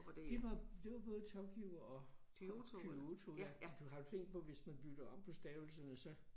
Det var det var både Tokyo og Kyoto ja du har du tænkt på hvis man bytter om på stavelserne så